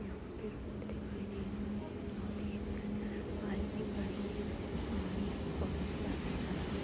यहां पे रोड दिखाई दे रहा है। यहां पे एक पाइप भी पड़ी हुई है। इसमें से पानी पौधों में डाला जा रहा है।